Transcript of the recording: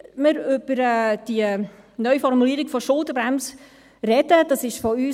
Wenn wir über die Neuformulierung der Schuldenbremse reden, dies ist von uns